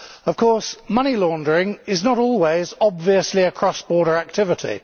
Of course, money laundering is not always obviously a cross border activity.